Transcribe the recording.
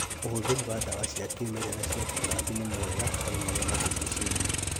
ũhũthĩri wa ndawa cia kĩmerera cia tũtambi nĩ mwega harĩ marĩa matũrigicĩirie